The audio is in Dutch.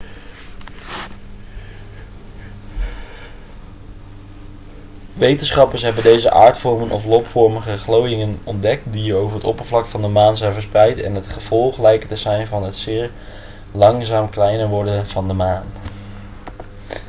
wetenschappers hebben deze aardvormen of lobvormige glooiingen ontdekt die over het oppervlak van de maan zijn verspreid en het gevolg lijken te zijn van het zeer langzaam kleiner worden van de maan